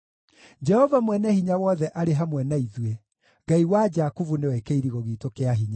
Jehova Mwene-Hinya-Wothe arĩ hamwe na ithuĩ; Ngai wa Jakubu nĩwe kĩirigo giitũ kĩa hinya.